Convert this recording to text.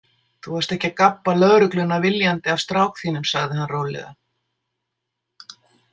Þú varst ekki að gabba lögregluna viljandi af strák þínum, sagði hann rólega.